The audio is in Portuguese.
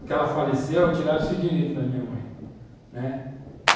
Quando ela faleceu, tiraram esse direito da minha mãe, né.